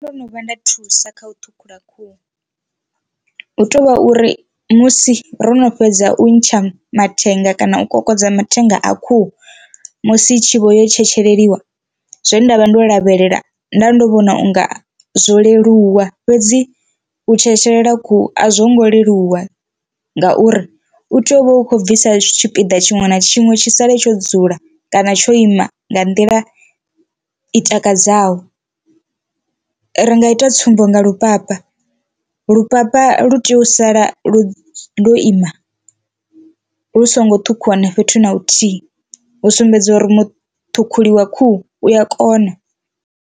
Ndo no vhuya nda thusa kha u ṱhukhula khuhu hu to vha uri musi ro no fhedza u ntsha mathenga kana u kokodza mathenga a khuhu musi i tshi vho yo tshetsheliwa zwe nda vha ndo lavhelela nda ndo vhona unga zwo leluwa, fhedzi u tshetshelela khuhu a zwo ngo leluwa ngauri u tea u vha u khou bvisa tshipiḓa tshiṅwe na tshiṅwe tshi sale tsho dzula kana tsho ima nga nḓila i takadzaho. RI nga ita tsumbo nga lupapa lupapa lu tea u sala lo lo ima lu songo ṱhukhuwa na fhethu na huthihi u sumbedza uri muṱhukhuli wa khuhu u ya kona.